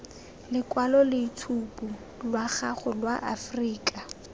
lokwaloitshupu lwa gago lwa aforika